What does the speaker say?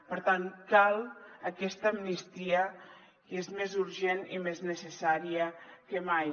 per tant cal aquesta amnistia i és més urgent i més necessària que mai